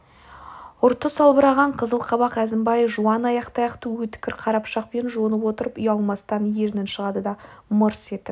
ұрты салбыраған қызыл қабақ әзімбай жуан ақтаяқты өткір қара пышақпен жонып отырып ұялмастан ернін шығарды да мырс етіп